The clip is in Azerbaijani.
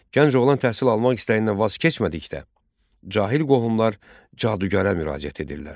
Gənc oğlan təhsil almaq istəyindən vaz keçmədikdə, cahil qohumlar cadugərə müraciət edirlər.